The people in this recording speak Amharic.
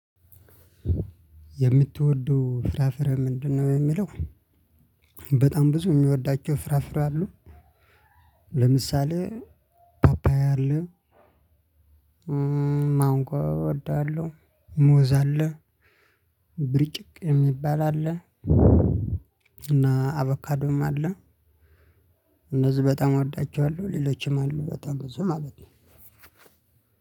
የምትወደው ፍራፍሬ ምንድነው? የሚለው በጣም ብዙ የሚወዳቸው ፍራፍሬ አሉ ለምሳሌ ፓፓያ አለ ማንጎ እወዳለሁ ሙዝ አለ ብሪጭቅ የሚባል አለ። እና አቦካዶም አለ እነዚህ በጣም እወዳቸዋለሁ ሌሎችም አሉ በጣም ብዙ ማለት ነው